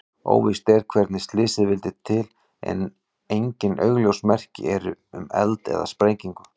Óvíst er hvernig slysið vildi til en engin augljós merki eru um eld eða sprengingu.